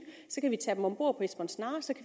at tage dem ombord på esbern snare